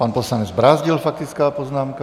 Pan poslanec Brázdil, faktická poznámka.